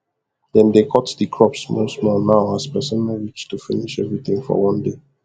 dem dey cut de crops small small now as pesin no reach to finish everything for one day